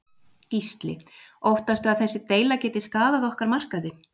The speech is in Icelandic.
Gísli: Óttastu að þessi deila geti skaðað okkar markaði?